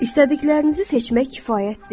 İstədiklərinizi seçmək kifayət deyil.